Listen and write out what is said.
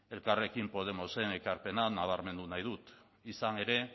elkarrekin podemosen ekarpena nabarmendu nahi dut izan ere